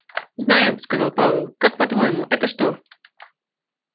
знаю сказал пауэлл как по-твоему что это